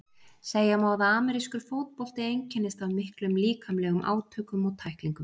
segja má að amerískur fótbolti einkennist af miklum líkamlegum átökum og tæklingum